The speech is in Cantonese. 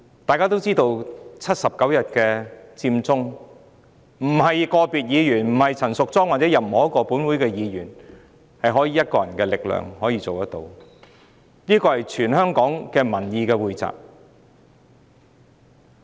大家都知道79天的佔中運動，並非個別議員、陳淑莊議員或任何一位本會議員可憑一己力量推動，而是全港民意的匯集。